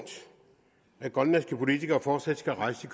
at grønlandske politikere fortsat skal rejse